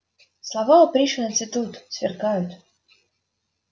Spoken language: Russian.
слова у пришвина цветут сверкают